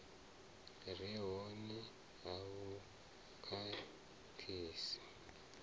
re hone a vhu khakhisi